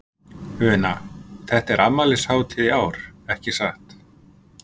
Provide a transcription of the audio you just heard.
Una, þetta er afmælishátíð í ár, ekki satt?